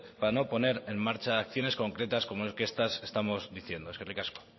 para no poner en marcha acciones concretas como estas que estamos diciendo eskerrik asko